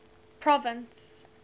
province